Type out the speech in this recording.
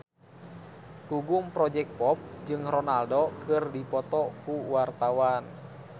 Gugum Project Pop jeung Ronaldo keur dipoto ku wartawan